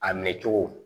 A minɛ cogo